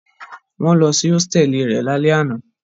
Wọ́n lọ sí hósítẹ́ẹ́lì rẹ̀ lálẹ́ àná.